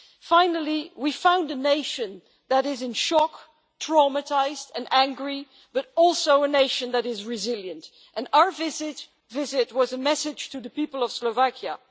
Finally, we found a nation that is in shock, traumatised and angry but also a nation that is resilient, and our visit was a message to the people of Slovakia.